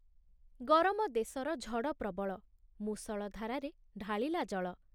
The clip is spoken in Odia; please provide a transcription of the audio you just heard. ଗରମ ଦେଶର ଝଡ଼ ପ୍ରବଳ ମୂଷଳ ଧାରାରେ ଢାଳିଲା ଜଳ ।